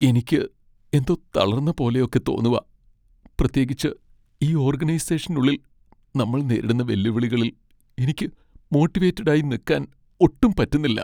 എനിക്ക് എന്തോ തളർന്ന പോലെയൊക്കെ തോന്നുവാ. പ്രത്യേകിച്ച് ഈ ഓർഗനൈസെഷനുള്ളിൽ നമ്മൾ നേരിടുന്ന വെല്ലുവിളികളിൽ എനിക്ക് മോട്ടിവേറ്റഡായി നിക്കാൻ ഒട്ടും പറ്റുന്നില്ല.